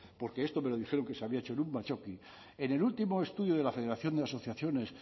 porque esto me lo dijeron que se había hecho en un batzoki en el último estudio de la federación de asociaciones